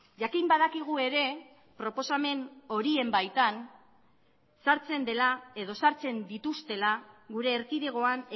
jakin badakigu ere proposamen horien baitan sartzen dela edo sartzen dituztela gure erkidegoan